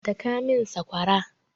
Daka min sakwara!